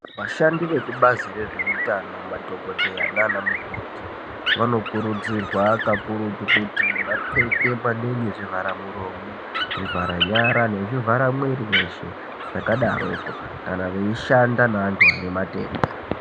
Vashandi vekubazi rezvehutano madhokodheya nana mukoti vano kuridzirwa kakurutu kuti vapfeke maningi zvivhara muromo zvivhara nyara nezvivhara mwiri weshe zvakadaroko kana veishanda neantu vane matenda.